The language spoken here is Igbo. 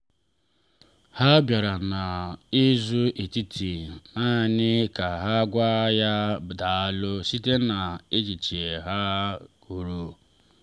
ha bịara n’izu etiti naanị ka ha gwa ya “daalu” site na achịcha ha kụrụ.